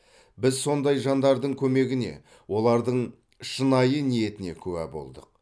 біз сондай жандардың көмегіне олардың шынайы ниетіне куә болдық